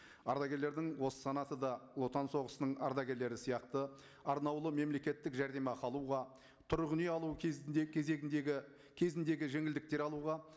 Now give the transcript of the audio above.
ардагерлердің осы санаты да отан соғысының ардагерлері сияқты арнаулы мемлекеттік жәрдемақы алуға тұрғын үй алу кезінде кезегіндегі кезіндегі жеңілдіктер алуға